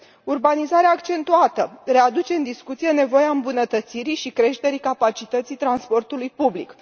Urbanizarea accentuată readuce în discuție nevoia îmbunătățirii și creșterii capacității transportului public.